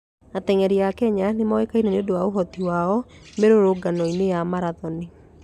Ateng'eri a Kenya nĩ moĩkaine nĩ ũndũ wa ũhoti wao mĩrũrũngano-inĩ ya marathoni.